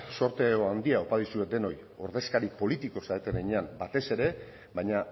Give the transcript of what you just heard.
zorte handia opa dizuet denoi ordezkari politiko zareten heinean batez ere baina